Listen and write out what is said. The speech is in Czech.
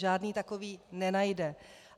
Žádný takový nenajde.